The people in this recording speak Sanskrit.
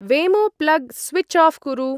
वेमो-प्लग् स्विच्-आऴ् कुरु।